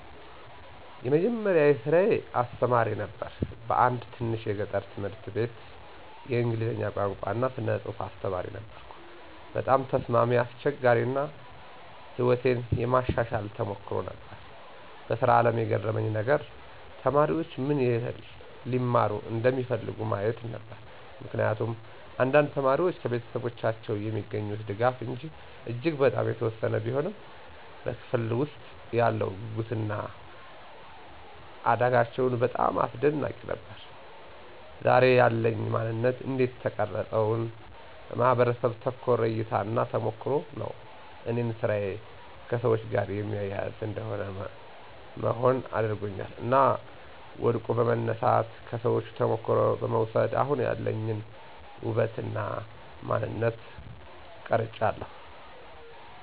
የመጀመሪያ ስራየ አስተማሪ ነበር በአንድ ትንሽ የገጠር ትምህርት አቤት የእንግሊዝ ቋንቋ እና ስነ ፅሐፍ አስተማሪ ነበርኩ። በጣም ተስማሚ፣ አስቸጋሪ አና ሕይወቴን የማሻሻል ተሞክሮ ነበር። በስራ አለም የገረመኝ ነገር?፦ተማሪዎች ምን ይህል (ሊማሩ) እንደሚፈልጉ ማየት ነበር። ምክንያቱም አንዳንድ ተማሪዎች ከቤተሰቦቻቸው የሚገኙት ድጋፍ እጂግ በጣም የተወሰነ ቢሆንም በክፍለ ውስጥ ያለው ጉጉትና እደጋታቸው በጣም አስደናቂ ነበር። ዛሬ ያለኝ ማነንት እንዴት ተቀረፀውን? በማህበረሰቡ ተኮር እይታና ተሞክሮ ነው እኔን ስራዬ ከሰዎች ጋር የሚያያዝ እንደ መሆን አድርጓኛል እና ወድቆ በመነሳት፣ ከሰዎቹ ተሞክሮ በመውስድ አሁን ያለውበትን ማንነት ቀራጨዋለሁ።